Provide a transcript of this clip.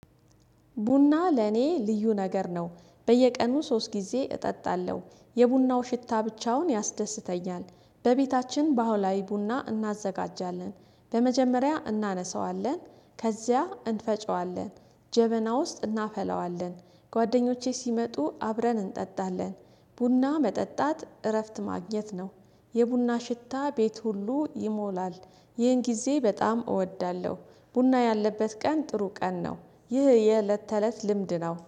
ቡና ለኔ ልዩ ነገር ነው በየቀኑ ሶስት ጊዜ እጠጣለሁ የቡናው ሽታ ብቻውን ያስደስተኛል። በቤታችን በአውላይ ቡና እናዘጋጃለን በመጀመሪያ እናነሳዋለን ከዚያ እንፈጨዋለን ጀበና ውስጥ እናፈለዋለን ጓደኞቼ ሲመጡ አብረን እንጠጣለን። ቡና መጠጣት እረፍት ማግኘት ነው። የቡና ሽታ ቤት ሁሉ ይሞላል ይህን ጊዜ በጣም እወዳለሁ። ቡና ያለበት ቀን ጥሩ ቀን ነው። ይህ የእለት ተእለት ልምድ ነው